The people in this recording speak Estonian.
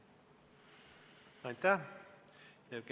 Aitäh!